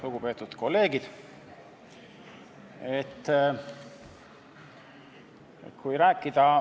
Lugupeetud kolleegid!